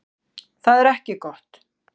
Þetta er ekki gott.